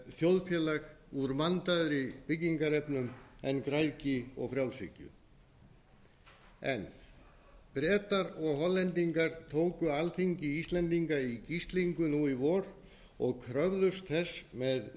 þjóðfélag úr vandaðri byggingarefnum en græðgi og frjálshyggju bretar og hollendingar tóku alþingi í gíslingu nú í vor og kröfðust þess með